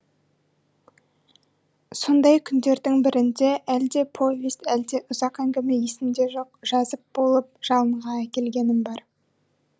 сондай күндердің бірінде әлде повесть әлде ұзақ әңгіме есімде жоқ жазып болып жалынға әкелгенім бар